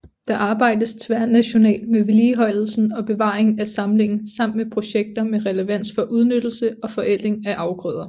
Der arbejdes tværnationalt med vedligeholdelsen og bevaringen af samlingen samt med projekter med relevans for udnyttelse og forædling af afgrøder